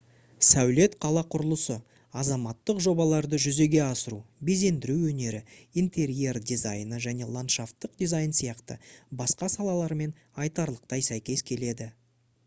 сәулет қала құрылысы азаматтық жобаларды жүзеге асыру безендіру өнері интерьер дизайны және ландшафтық дизайн сияқты басқа салалармен айтарлықтай сәйкес келеді